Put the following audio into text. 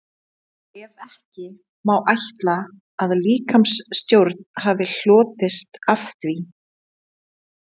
Ef ekki, má ætla að líkamstjón hafi hlotist af því?